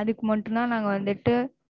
அதுக்கு மட்டும் தான் நாங்க வந்துட்டு,